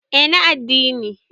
eh na adddini